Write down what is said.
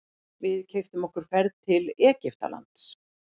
Við keyptum okkur ferð til Egyptalands.